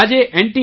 આજે એન